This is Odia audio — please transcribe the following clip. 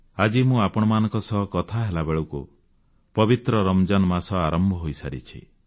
ଆଜି ମୁଁ ଆପଣମାନଙ୍କ ସହ କଥା ହେଲା ବେଳକୁ ପବିତ୍ର ରମଜାନ୍ ମାସ ଆରମ୍ଭ ହୋଇସାରିଛି